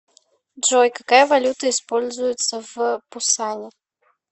джой какая валюта используется в пусане